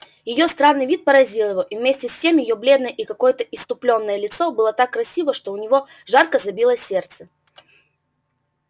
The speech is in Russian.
её странный вид поразил его и вместе с тем её бледное и какое-то исступлённое лицо было так красиво что у него жарко забилось сердце